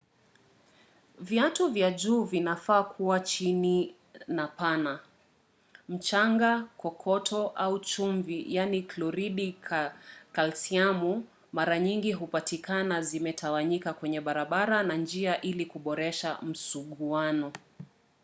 viatu vya juu vinafaa kua chini na pana.mchanga kokoto au chumvi kloridi kalsiamu mara nyingi hupatikana zimetawanyika kwenye barabara na njia ili kuboresha msuguano